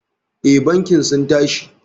Eh bankin sun tashi.